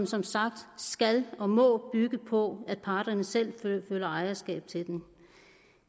som sagt skal og må bygge på at parterne selv føler ejerskab til den